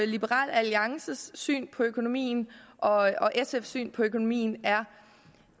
liberal alliances syn på økonomien og sfs syn på økonomien er